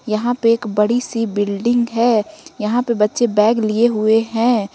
यहां पे एक बड़ी सी बिल्डिंग है यहां पर बच्चे बैग लिए हुए हैं।